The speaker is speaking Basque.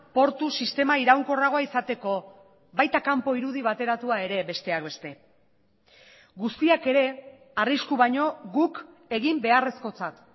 portu sistema iraunkorragoa izateko baita kanpo irudi bateratua ere besteak beste guztiak ere arrisku baino guk egin beharrezkotzat